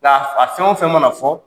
Nka a fɛn o fɛn mana fɔ